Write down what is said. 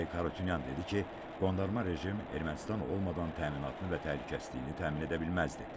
Arayik Harutyunyan dedi ki, qondarma rejim Ermənistan olmadan təminatını və təhlükəsizliyini təmin edə bilməzdi.